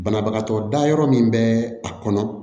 Banabagatɔ da yɔrɔ min bɛ a kɔnɔ